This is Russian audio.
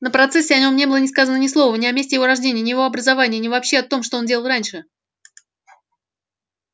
на процессе о нем не было ни сказано ни слова ни о месте его рождения ни о его образовании ни вообще о том что он делал раньше